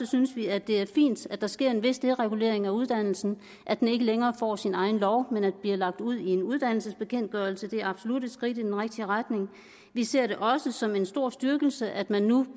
synes vi at det er fint at der sker en vis deregulering af uddannelsen og at den ikke længere får sin egen lov men bliver lagt ud i en uddannelsesbekendtgørelse det er absolut et skridt i den rigtige retning vi ser det også som en stor styrkelse at man nu